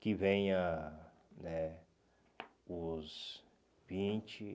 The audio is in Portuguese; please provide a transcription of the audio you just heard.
Que venha né os vinte